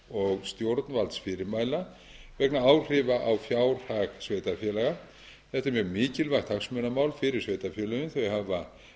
og stjórnvaldsfyrirmæla vegna áhrifa á fjárhag sveitarfélaga þetta er mjög mikilvægt hagsmunamál fyrir sveitarfélögin þau hafa